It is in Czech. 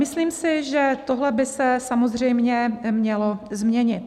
Myslím si, že tohle by se samozřejmě mělo změnit.